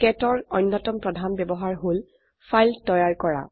কেট ৰ অন্যতম প্ৰধান ব্যবহাৰ হল ফাইল তৈয়াৰ কৰা